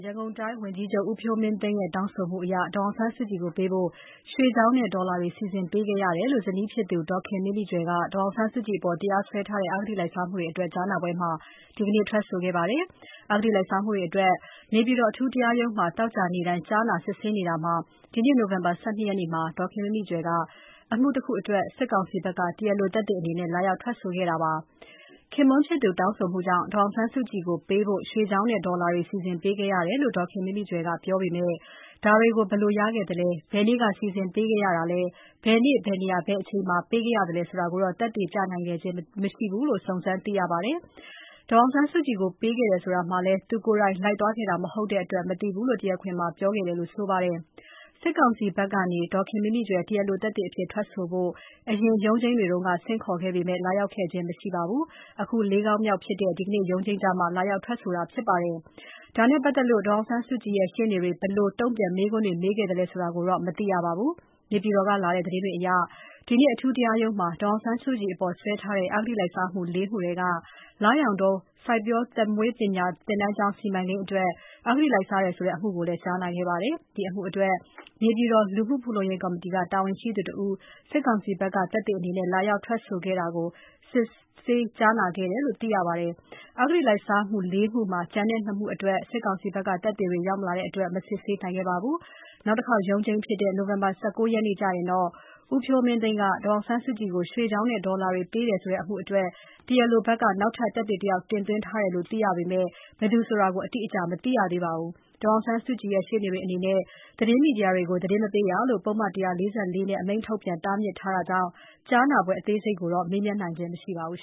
ရန်ကုန်တိုင်းဝန်ကြီးချုပ် ဦးဖြိုးမင်းသိန်းရဲ့ တောင်းဆိုမှုအရ ဒေါ်အောင်ဆန်းစုကြည်ကိုပေးဖို့ ရွှေချောင်းနဲ့ ဒေါ်လာတွေ စီစဉ်ပေးခဲ့ရတယ်လို့ ဇနီးဖြစ်သူ ဒေါ်ခင်မိမိကြွယ်က ဒေါ်အောင်ဆန်းစုကြည်အပေါ် တရားစွဲထားတဲ့ အဂတိလိုက်စားမှုအတွက် ကြားနာပွဲမှာ ဒီနေ့ ထွက်ဆိုခဲ့ပါတယ်။ အဂတိလိုက်စားမှုတွေအတွက် အထူးတရားရုံးမှာ သောကြာနေ့တိုင်း ကြားနာစစ်ဆေးနေတာမှာ ဒီနေ့ နိုဝင်ဘာ ၁၂ ရက်မှာဒေါ်ခင်မိမိကြွယ်က အမှုတခုအတွက် တရားလိုသက်သေအနေနဲ့လာရောက်ထွက်ဆိုခဲ့တာဖြစ်ပါတယ်။ ဒေါ်ခင်မိမိကြွယ်က သူမ ခင်ပွန်း ဖြစ်သူတောင်းဆိုမှုကြောင့် ဒေါ်အောင်ဆန်းစုကြည်ကိုပေးဖို့ ရွှေချောင်းနဲ့ ဒေါ်လာတွေ စီစဉ်ပေးခဲ့ရတယ်လို့ ပြောပေမယ့် ဒါတွေကို ဘယ်လိုရခဲ့သလဲ၊ ဘယ်နေ့က စီစဉ်ပေးခဲ့ရတာလဲ၊ ဘယ်နေ့၊ ဘယ်နေရာ၊ ဘယ်အချိန်မှာ ပေးခဲ့သလဲဆိုတာကိုတော့ သက်သေပြနိုင်ခဲ့ခြင်း မရှိဘူးလို့ စုံစမ်းသိရပါတယ်။ ဒေါ်အောင်ဆန်းစုကြည်ကို ပေးခဲ့တယ်ဆိုတာမှာလည်း သူကိုယ်တိုင် လိုက်သွားခဲ့တာမဟုတ်တဲ့အတွက် မသိဘူးလို့ တရားခွင်မှာ ပြောခဲ့တယ်လို့ ဆိုပါတယ်။ စစ်ကောင်စီဘက်ကနေ ဒေါ်ခင်မိမိကြွယ် တရားလိုသက်သေအဖြစ် ထွက်ဆိုဖို့ အရင် ရုံးချိန်းတွေတုန်းက ဆင့်ခေါ်ခဲ့ပေမယ့် လာရောက်ခဲ့ခြင်း မရှိဘဲ ၄ ခေါက်မြောက်ဖြစ်တဲ့ ဒီနေ့ရုံးချိန်းကျမှ လာရောက်ထွက်ဆိုတာဖြစ်ပါတယ်။ ဒါနဲ့ပတ်သက်လို့ ဒေါ်အောင်ဆန်းစုကြည်ရဲ့ ရှေ့နေတွေ ဘယ်လို တုံ့ပြန်မေးခွန်းတွေ မေးခဲ့သလဲဆိုတာကိုတော့ မသိရပါဘူး။ နေပြည်တော်ကလာတဲ့ သတင်းတွေအရ ဒီနေ့ အထူးတရားရုံးမှာ ဒေါ်အောင်ဆန်းစုကြည်အပေါ် စွဲထားတဲ့ အဂတိလိုက်စားမှု ၄ မှုထဲက လရောင်တော စိုက်ပျိုးသက်မွေးပညာ သင်တန်းကျောင်း စီမံကိန်းအတွက် အဂတိလိုက်စားတယ်ဆိုတဲ့ အမှုကိုလည်း ကြားနာခဲ့ပါတယ်။ ဒီအမှုအတွက် နေပြည်တော် လူမှုဖူလုံရေးကော်မတီက တာဝန်ရှိသူတဦး စစ်ကောင်စီဘက်က သက်သေအနေနဲ့ လာရောက်ထွက်ဆိုခဲ့တာကို စစ်ဆေးကြားနာခဲ့တယ်လို့သိရပါတယ်။ အဂတိလိုက်စားမှု ၄ မှုမှာ ကျန်တဲ့ ၂ မှုအတွက် စစ်ကောင်စီဘက်က သက်သေတွေ ရောက်မလာတဲ့အတွက် မစစ်ဆေးနိုင်ခဲ့ပါဘူး။ နောက်တခေါက်ရုံးချိန်ဖြစ်တဲ့ နိုဝင်ဘာ ၁၉ ရက်နေ့ကျရင်တော့ ဦးဖြိုးမင်းသိန်းက ဒေါ်အောင်ဆန်းစုကြည်ကို ရွှေချောင်းနဲ့ဒေါ်လာတွေ ပေးတယ်ဆိုတဲ့အမှုအတွက် တရားလိုဘက်က နောက်ထပ်သက်သေတယောက် တင်သွင်းထားတယ်လို့ သိရပေမယ့် ဘယ်သူလဲဆိုတာ အတိအကျ မသိရသေးပါဘူး။ ဒေါ်အောင်ဆန်းစုကြည်ရဲ့ ရှေ့နေတွေအနေနဲ့ သတင်းမီဒီယာတွေကို သတင်းမပေးရလို့ ပုဒ်မ ၁၄၄ နဲ့အမိန့်ထုတ်ပြန် တားမြစ်ထားတာကြောင့် ကြားနာပွဲ အသေးစိတ်ကိုတော့ မေးမြန်းနိုင်ခြင်း မရှိပါဘူး